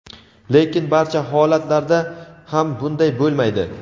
lekin barcha holatlarda ham bunday bo‘lmaydi.